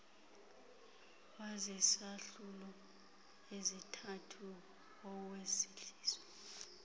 wazizahlulo ezithathu owesizwe